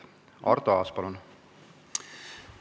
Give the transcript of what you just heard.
Arto Aas, palun!